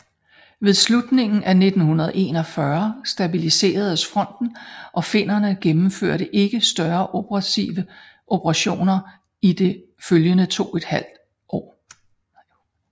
Ved slutningen af 1941 stabiliseredes fronten og finnerne gennemførte ikke større offensive operationer i det følgende 2½ år